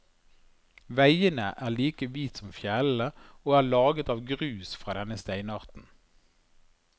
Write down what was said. Veien er like hvit som fjellene, og er laget av grus fra denne steinarten.